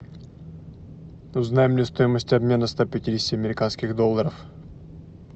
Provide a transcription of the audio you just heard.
узнай мне стоимость обмена ста пятидесяти американских долларов